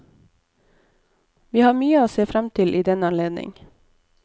Vi har mye å se frem til i den anledning.